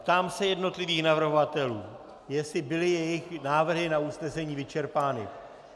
Ptám se jednotlivých navrhovatelů, jestli byly jejich návrhy na usnesení vyčerpány.